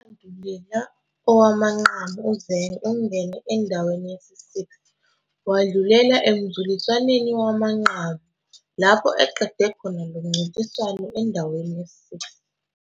kowandulela owamanqamu, uZeng ungene endaweni yesi-6, wadlulela emzuliswaneni wamanqamu, lapho aqede khona lo mncintiswano endaweni yesi-6.